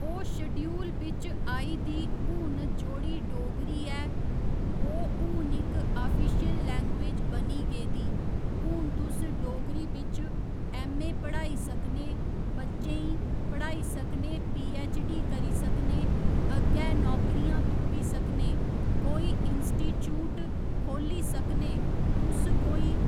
ओह् श्डयूल बिच्च आई दी हून जोह्ड़ी डोगरी ऐ ओह् हून इक आफिशियल लैंग्जवेज बनी गेदी हून तुस डोगरी बिच् ऐम्म.ए. पढ़ाई सकने बच्चें ई पढ़ाई सकने पी.ऐच्च.डी. करी सकने अग्गै नौकरियां तुप्पी सकने कोई इंसीटीच्यूट खोह्ल्ली सकने तुस कोई